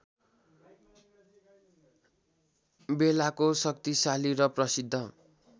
बेलाको शक्तिशाली र प्रसिद्ध